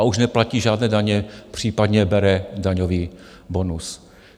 A už neplatí žádné daně, případně bere daňový bonus.